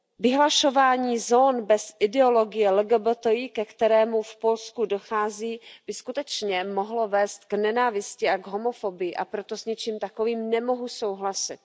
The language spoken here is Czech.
Vyhlašování zón bez ideologie LGBTI, ke kterému v Polsku dochází, by skutečně mohlo vést k nenávisti a k homofobii, a proto s něčím takovým nemohu souhlasit.